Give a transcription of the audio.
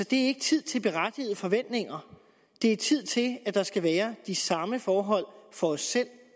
det er ikke tid til berettigede forventninger det er tid til at der skal være de samme forhold for os selv